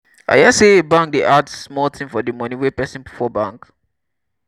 i hear sey bank dey add small tin for di moni wey pesin put for bank.